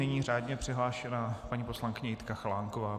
Nyní řádně přihlášená paní poslankyně Jitka Chalánková.